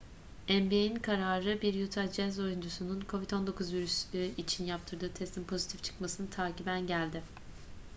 nba'in kararı bir utah jazz oyuncusunun covid-19 virüsü için yaptırdığı testin pozitif çıkmasını takiben geldi